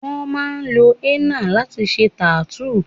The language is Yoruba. Wón máa ń lo henna láti fi ṣe tattoo